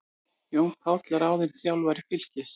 Jón Páll ráðinn þjálfari Fylkis